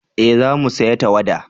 eh za mu saya tawada